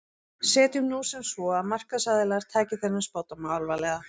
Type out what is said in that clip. Setjum nú sem svo að markaðsaðilar taki þennan spádóm alvarlega.